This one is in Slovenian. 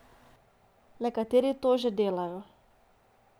Nekateri to že delajo.